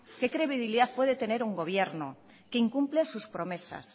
qué credibilidad puede tener un gobierno que incumple sus promesas